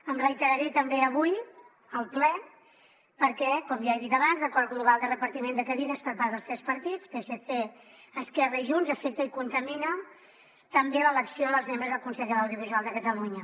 em reiteraré també avui al ple perquè com ja he dit abans l’acord global de repartiment de cadires per part dels tres partits psc esquerra i junts afecta i contamina també l’elecció dels membres del consell de l’audiovisual de catalunya